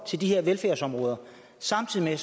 til de her velfærdsområder samtidig